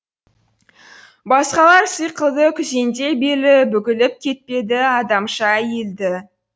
басқалар сықылды күзендей белі бүгіліп кетпеді адамша иілді